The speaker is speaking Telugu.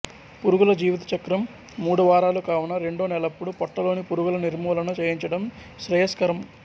పురుగుల జీవితచక్రం మూడువారాలు కావున రెండో నెలప్పుడు పొట్టలోని పురుగుల నిర్మూలన చేయించటం శ్రేయస్కరం